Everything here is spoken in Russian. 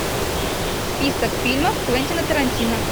список фильмов квентина тарантино